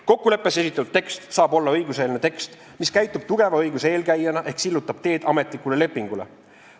Kokkuleppes esitatud tekst saab olla õiguseelne tekst, mis käitub tugeva õiguse eelkäijana ehk sillutab teed ametlikule lepingule.